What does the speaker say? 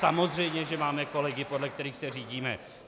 Samozřejmě že máme kolegy, podle kterých se řídíme.